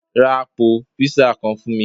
Rá apò piiza kán fún mí.